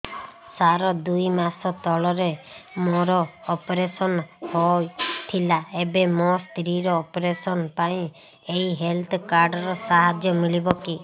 ସାର ଦୁଇ ମାସ ତଳରେ ମୋର ଅପେରସନ ହୈ ଥିଲା ଏବେ ମୋ ସ୍ତ୍ରୀ ର ଅପେରସନ ପାଇଁ ଏହି ହେଲ୍ଥ କାର୍ଡ ର ସାହାଯ୍ୟ ମିଳିବ କି